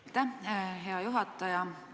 Aitäh, hea juhataja!